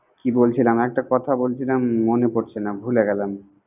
কি বলছিলাম? একটা কথা বলছিলাম মনে পরছে না ভুলে গেলাম